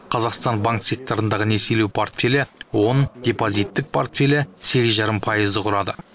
қазақстан банк секторындағы несиелеу портфелі он депозиттік портфелі сегіз жарым пайызды құрады